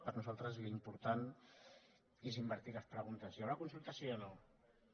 per a nosaltres l’important és invertir les preguntes hi haurà consulta sí o no no